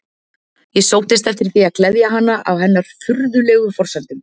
Ég sóttist eftir því að gleðja hana á hennar furðulegu forsendum.